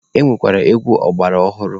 E nwekwara egwu ọgbara ọhụrụ.